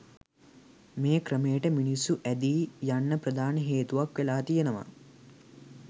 මේ ක්‍රමයට මිනිස්සු ඇඳී යන්න ප්‍රධාන හේතුවක් වෙලා තියෙනවා